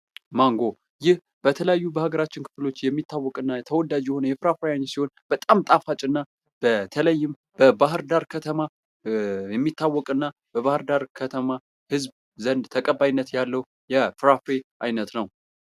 ማንጎ ፦ ይህ በተለያዩ በሀገራችን ክፍሎች የሚታወቅና ተወዳጅ የሆነ የፍራፍሬ አይነት ሲሆን በጣም ጣፋጭና በተለይም በባህርዳር ከተማ የሚታወቅና በባህርዳር ከተማ ህዝብ ዘንድ ተቀባይነት ያለው የፍራፍሬ አይነት ነው ።